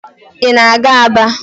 Ị na-aga Aba?